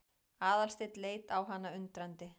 Aðalsteinn leit á hana undrandi.